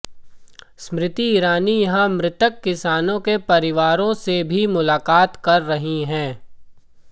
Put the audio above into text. स्मृति ईरानी यहां मृतक किसानों के परिवारों से भी मुलाकात कर रही हैं